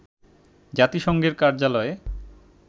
জাতিসংঘের কার্যালয়ে